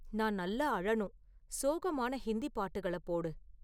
நான் நல்லா அழணும் சோகமான ஹிந்தி பாட்டுகளப் போடு